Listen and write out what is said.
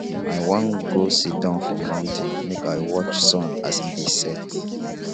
i wan go siddon for mountain make i watch sun as e dey set